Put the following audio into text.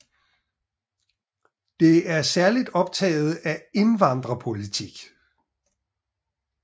Det er særlig optaget af indvandringspolitik